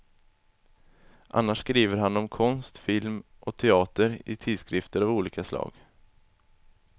Annars skriver han om konst, film och teater i tidskrifter av olika slag.